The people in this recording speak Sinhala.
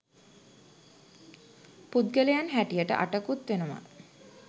පුද්ගලයන් හැටියට අටකුත් වෙනවා.